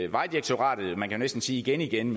vejdirektoratet man kan jo næsten sige igen igen